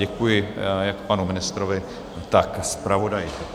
Děkuji jak panu ministrovi, tak zpravodaji.